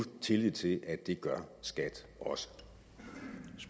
tillid til at det gør skat